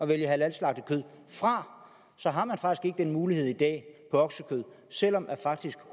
vælge halalslagtet kød fra så har man faktisk ikke den mulighed i dag oksekød selv om faktisk